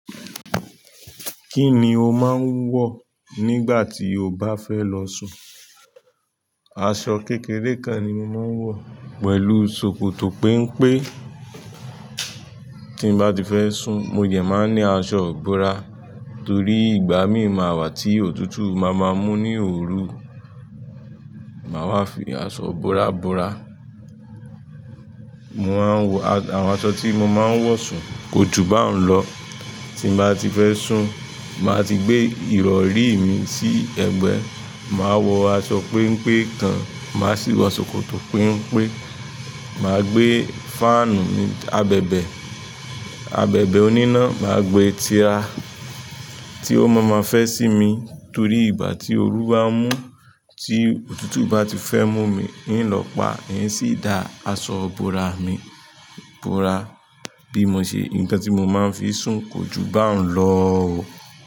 Kí ni o máa ń wọ̀ nígbà tí o bá fẹ́ lọ sùn? Aṣọ kékeré kan ni mo máa ń wọ̀, pẹ̀lú ṣòkòtò péńpé. Tí n bá ti fẹ́ sùn, mo dẹ̀ máa ní aṣọ ìbora, torí ìgbà míì máa wà tí òtútù máa máa mú ní òru, màá wá fi aṣọ ìbora bora. Mo máa ń wọ àwọn aṣọ tí mo máa ń wọ̀ sùn, kò jù bá ń lọ. Tí n bá ti fẹ́ sùn, màá ti gbé ìrọ̀rí mi sí ẹ̀gbẹ́, màá wọ aṣọ péńpé kan, màá sì wọ ṣòkòtò péńpé, màá gbé fáànù ní abẹ̀bẹ̀, abẹ̀bẹ̀ oníná, màá gbé ti ara tí ó máa máa fẹ́ sí mi, torí ìgbà tí òru bá ń mú, tí òtútù bá ti fẹ́ mú mi, ń lọ pa, ń sì dá aṣọ ìbora mi ìbora bí mo ṣe. Nǹkan tí mo máa ń fi sùn kò jù bá ń lọ o.